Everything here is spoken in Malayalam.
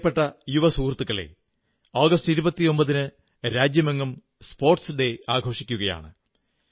എന്റെ പ്രിയപ്പെട്ട യുവസുഹൃത്തുക്കളേ ആഗസ്റ്റ് 29 ന് രാജ്യമെങ്ങും കായിക ദിനം ആഘോഷിക്കയാണ്